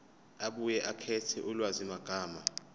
abuye akhethe ulwazimagama